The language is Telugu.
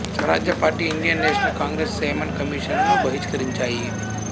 స్వరాజ్య party Indian national Congress Simon కమిషనును బహిష్కరించాయి